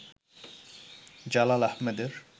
Jalal আহেমেদের